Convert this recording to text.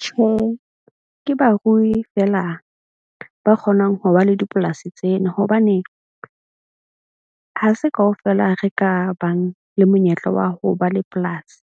Tjhe, ke barui feela ba kgonang ho ba le dipolasi tsena. Hobane ha se kaofela re ka bang le monyetla wa ho ba le polasi.